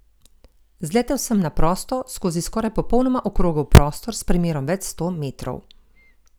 Zletel sem na prosto, skozi skoraj popolnoma okrogel prostor s premerom več sto metrov.